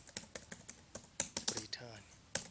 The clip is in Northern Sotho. brithani